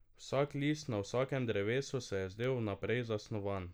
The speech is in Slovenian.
Vsak list na vsakem drevesu se je zdel vnaprej zasnovan.